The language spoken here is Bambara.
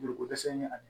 Joliko dɛsɛ ni ani